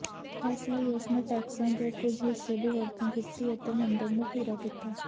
ਇਸ ਲਈ ਉਸਨੇ ਟੈਕਸਾਂ ਦੇ ਕੁਝ ਹਿੱਸੇ ਦੀ ਵਰਤੋਂ ਕੀਤੀ ਅਤੇ ਮੰਦਰ ਨੂੰ ਪੂਰਾ ਕੀਤਾ